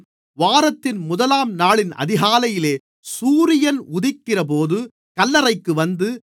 வாரத்தின் முதலாம்நாளின் அதிகாலையிலே சூரியன் உதிக்கிறபோது கல்லறைக்கு வந்து